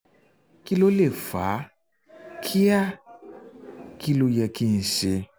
kí ló lè fà á? kí á? kí ló yẹ kí n ṣe?